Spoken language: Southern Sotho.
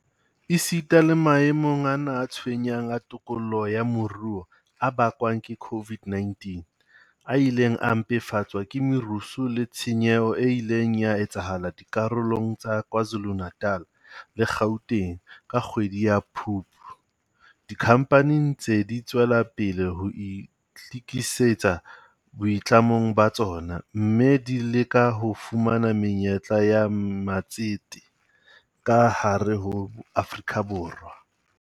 Esita le maemong ana a tshwenyang a tikoloho ya moruo a bakwang ke COVID-19, a ileng a mpefatswa ke merusu le tshenyeho e ileng ya etsahala dikarolong tsa Kwa Zulu-Natal le Gauteng ka kgwedi ya Phupu. Dikhampani di ntse di tswela pele ho itlikisetsa boitlamong ba tsona, mme di leka ho fumana menyetla ya matsete ka hare ho Afrika Borwa.